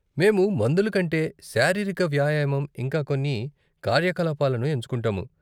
మేము మందుల కంటే శారీరిక వ్యాయామం, ఇంకా కొన్ని కార్యకలాపాలను ఎంచుకుంటాము.